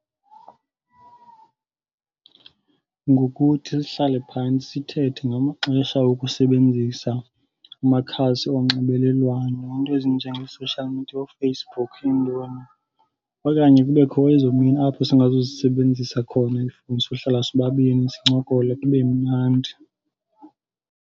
Ngokuthi sihlale phantsi sithethe ngamaxesha okusebenzisa amakhasi onxibelelwano, iinto ezinjengo-social media, ooFacebook intoni. Okanye kubekho ezoo mini apho singazuzisebenzisa khona iifowuni sohlala sobabini sincokole kube mnandi.